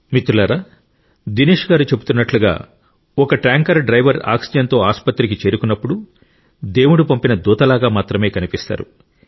మిత్రులారా దినేష్ గారు చెబుతున్నట్లుగా ఒక ట్యాంకర్ డ్రైవర్ ఆక్సిజన్తో ఆసుపత్రికి చేరుకున్నప్పుడు దేవుడు పంపిన దూతలాగా మాత్రమే కనిపిస్తారు